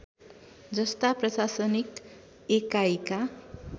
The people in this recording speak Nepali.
जस्ता प्रशासनिक एकाइका